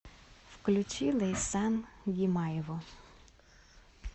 включи лейсан гимаеву